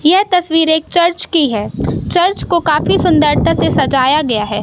यह तस्वीर एक चर्च की है। चर्च को काफी सुंदरता से सजाया गया है।